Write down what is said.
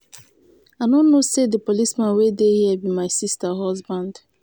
i no know say the policeman wey dey here be my sister husband.